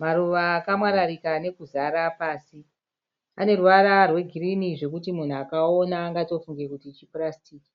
Maruva akamwararika nekuzara pasi. Aneruvara rwegirini zvekuti munhu akaaona angatofunge kuti chipurasitiki,